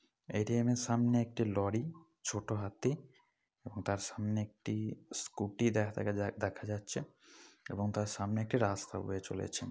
এ. T .M. - এর সামনে একটি লড়ি ছোট হাতি এবং তার সামনে একটি স্কুটি দে-দে-দেখা যাচ্ছে |এবং তার সামনে একটি রাস্তা বয়ে চলেছে ।